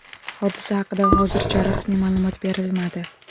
Hodisa haqida hozircha rasmiy ma’lumot berilmadi.